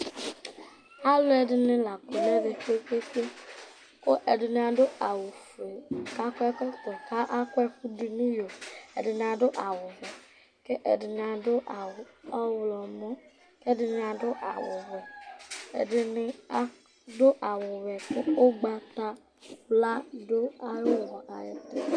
Alʋɛdɩnɩ la kɔ nʋ ɛvɛ kpe-kpe-kpe kʋ ɛdɩnɩ adʋ awʋfue kʋ akɔ ɛkɔtɔ kʋ akɔ ɛkʋ nʋ iyo Ɛdɩnɩ adʋ awʋwɛ kʋ ɛdɩnɩ adʋ awʋ ɔɣlɔmɔ kʋ ɛdɩnɩ adʋ awʋvɛ, ɛdɩnɩ adʋ awʋwɛ kʋ ʋgbatawla dʋ ayʋ ʋɣɔ yɛ ayɛtʋ